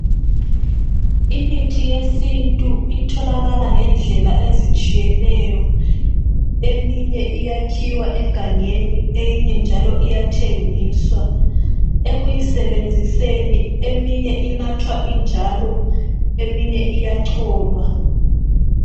Imithi yesintu itholakala ngendlela ezitshiyeneyo eminye iyakhiwa egangeni eminye njalo iyathengiswa ekuyisebenziseni eminye inathwa injalo eminye iyacholwa.